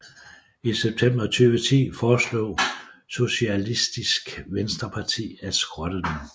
I september 2010 foreslog Sosialistisk Venstreparti at skrotte dem